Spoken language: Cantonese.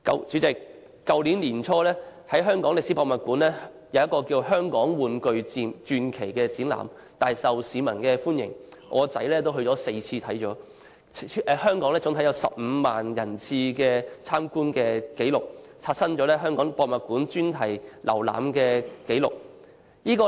主席，去年年初，在香港歷史博物館舉行的"香港玩具傳奇"展覽，大受市民歡迎，我兒子參觀該展覽4次，超過15萬人次參觀展覽，刷新了香港歷史博物館專題展覽參觀人次的紀錄。